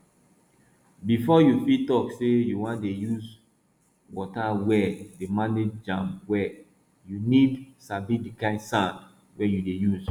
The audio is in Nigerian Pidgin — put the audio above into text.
befo you fit tok say you wan dey use wata well dey manage am well you need sabi di kind sand wey you dey use